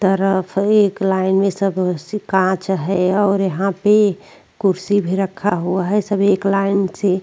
तरफ एक लाइन में सब सी कांच है और यहाँ पे कुर्सी भी रखा हुआ है सभी एक लाइन से।